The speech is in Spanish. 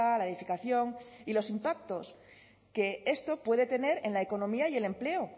la edificación y los impactos que esto puede tener en la economía y el empleo